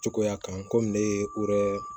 Cogoya kan kɔmi ne ye o yɛrɛ